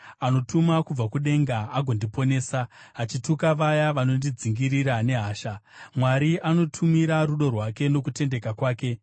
Anotuma kubva kudenga agondiponesa, achituka vaya vanondidzingirira nehasha; Sera Mwari anotumira rudo rwake nokutendeka kwake.